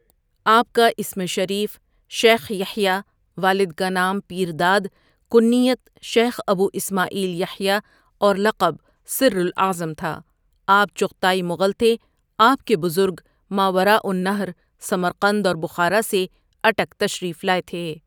آپ کا اسم شریف شیخ یحییٰ والد کا نام پیرداد، کنیت شیخ ابو اسماعیل یحییٰ اور لقب سر الاعظم تھا آپ چغتائی مغل تھے آپ کے بزرگ ماوراء النہر سمرقند اور بخارا سےاٹک تشریف لائے تھے